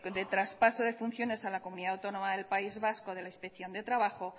de traspaso de funciones a la comunidad autónoma del país vasco de la inspección de trabajo